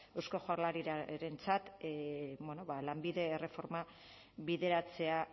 eusko jaurlaritzarentzat bueno lanbide erreforma bideratzea